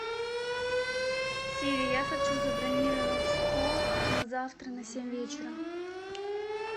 сири я хочу забронировать стол на завтра на семь вечера